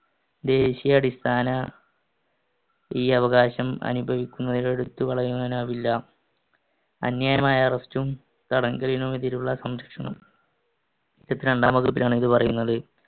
ദേശീയ അടിസ്ഥാന ഈ അവകാശം അനുഭവിക്കുന്നത് എടുത്തുകളയാനാവില്ല. അന്യായമായ arrest ഉം തടങ്കലിനും എതിരുള്ള സംരക്ഷണം. ഇരുപത്തിരണ്ടാം വകുപ്പിലാണ് ഇത് പറയുന്നത്.